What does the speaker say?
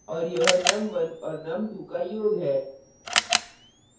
और यह num1 और num2 का योग है